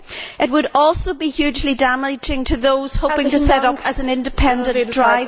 It would also be hugely damaging to those hoping to set up as independent drivers.